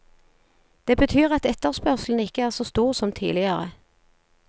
Det betyr at etterspørselen ikke er så stor som tidligere.